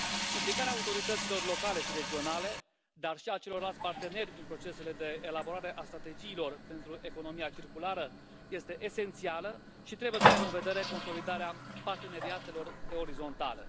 Implicarea autorităților locale și regionale, dar și a celorlalți parteneri în procesele de elaborare a strategiilor pentru economia circulară este esențială și trebuie să aibă în vedere consolidarea parteneriatelor pe orizontală.